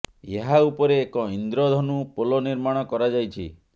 ଏହା ଉପରେ ଏକ ଇନ୍ଦ୍ର ଧନୁ ପୋଲ ନିର୍ମାଣ କରା ଯାଇଛି